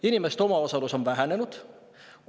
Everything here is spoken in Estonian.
Inimeste omaosalus on vähenenud.